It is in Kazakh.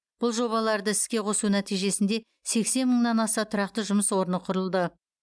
бұл жобаларды іске қосу нәтижесінде сексен мыңнан аса тұрақты жұмыс орны құрылды